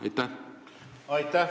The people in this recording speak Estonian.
Aitäh!